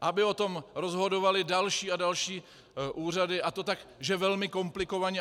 Aby o tom rozhodovaly další a další úřady, a to tak, že velmi komplikovaně?